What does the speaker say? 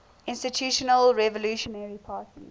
institutional revolutionary party